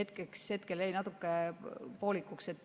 Küsimus jäi vist natuke poolikuks.